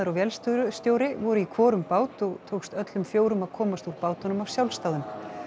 vélstjóri vélstjóri voru í hvorum bát og tókst öllum fjórum að komast úr bátunum af sjálfsdáðum